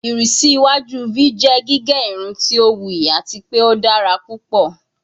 Irisi iwaju v jẹ gige irun ti o wuyi ati pe o dara pupọ